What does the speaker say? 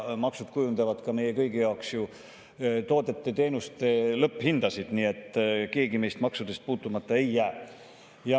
Maksud kujundavad meie kõigi jaoks toodete ja teenuste lõpphindasid, nii et keegi meist maksudest puutumata ei jää.